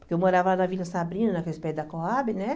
Porque eu morava lá na Vila Sabrina, naqueles prédios da Coab, né?